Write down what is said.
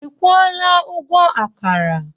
Ị kwụola ụgwọ akara?